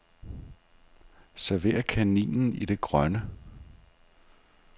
Server kaninen i det grønne.